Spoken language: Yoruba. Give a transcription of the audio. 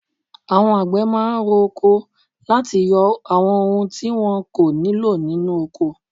Àwọn àgbẹ̀ máà ń ro oko láti yọ àwọn ohun tí wọn kò nílò nínú ọkọ.